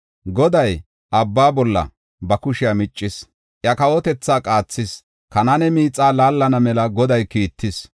Goday abba bolla ba kushiya miccis; iya kawotethaa qaathis. Kanaane miixa laallana mela Goday kiittis.